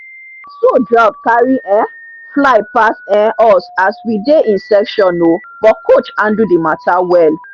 na so drone carry um fly pass um us as we dey in session o but coach handle the mata well